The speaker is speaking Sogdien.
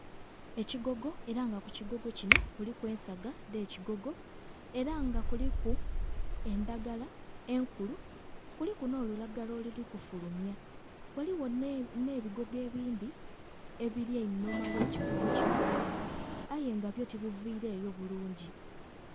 Ekigogo era nga ku kigogo kino kuliku ensaga dh'ekigogo. Era nga kuliku endhagala enkulu kuliku n'olulagala oluli kufulumya, ghaligho n'ebigogo ebindhi ebiri einhuma gh'ekigogo kino aye nga byo tibivireyo bulungi.